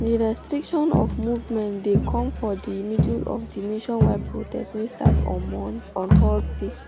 di restriction of movement dey come for di middle of di nationwide protest wey start on thursday